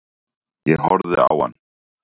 Ég horfði á hann.